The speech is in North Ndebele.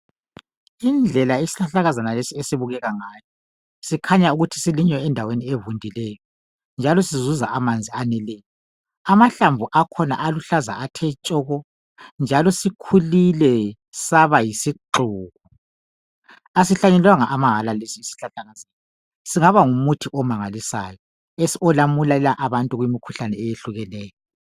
Indlela isihlahlakazana lesi esibukeka ngayo, sikhanya ukuthi silinywa endaweni evundileyo njalo sizuza amanzi aneleyo. Amahlamvu akhona aluhlaza athe tshoko njalo sikhulile saba yisixuku. Asihlanyelelwanga amahala lesi isihlahlakazana singaba ngumuthi omangalisayo olamulela abantu kumikhuhlane eyehlukeneyo